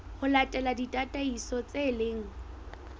ho latela ditataiso tse leng